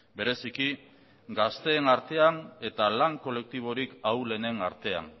bereziki gazteen artean eta lan kolektibo ahulenen artean